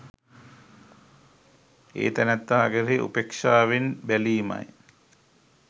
ඒ තැනැත්තා කෙරෙහි උපේක්ෂාවෙන් බැලීමයි